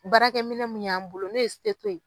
Baarakɛminɛ mun y'an bolo n'o ye ye.